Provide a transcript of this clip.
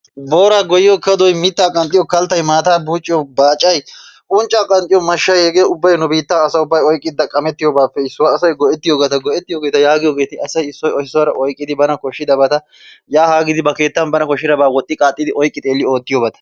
Booraa goyyiyo kadoy, mittaa qanxxiyo kalttay, maataa buucciyo baacay, unccaa qanxxiyo mashshay hegee ubbay nu biittan asay oyqqi xaqqamettiyobatuppe issuwa asay gi'ettiyobata yaagiyogeeti asay issuwa issuwara oyqqidi bana koshshidabata yaa haa giidi ba keettan koshshidabata oyqqi xeelli oottiyobata.